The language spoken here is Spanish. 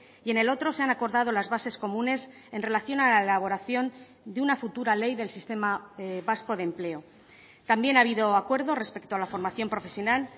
y en el otro se han acordado las bases comunes en relación a la elaboración de una futura ley del sistema vasco de empleo también ha habido acuerdo respecto a la formación profesional